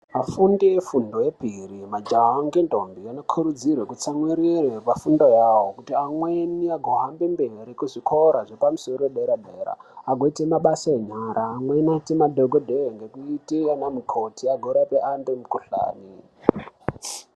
Vafundi vefundo yepiri majaha nemantombi anozotsamwirire pafundo yawo kuti amweni ahambe mberi kuzvikora zvepamusoro dera dera agoite mabasa enyara amweni agoite madhokodheya ngekuite ana mukoti agorape vantu mikhuhlani.